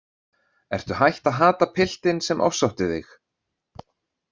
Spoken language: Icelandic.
Ertu hætt að hata piltinn sem ofsótti þig?